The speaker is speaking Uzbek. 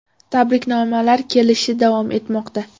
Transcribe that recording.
Tabriknomalar kelishi davom etmoqda.